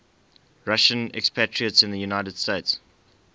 russian expatriates in the united states